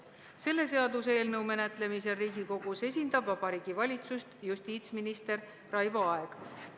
Selle seaduseelnõu menetlemisel Riigikogus esindab Vabariigi Valitsust justiitsminister Raivo Aeg.